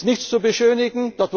Es ist nichts zu beschönigen.